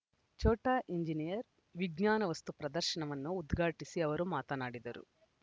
Chota engineer ವಿಜ್ಞಾನ ವಸ್ತು ಪ್ರದರ್ಶನವನ್ನು ಉದ್ಘಾಟಿಸಿ ಅವರು ಮಾತನಾಡಿದರು